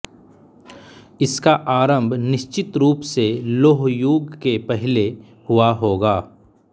इसका आरंभ निश्चित रूप से लौह युग के पहले हुआ होगा